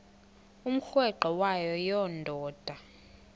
umrweqe wayo yoonda